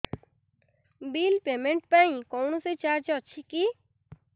bill payment ପାଇଁ କୌଣସି charge ଅଛି କି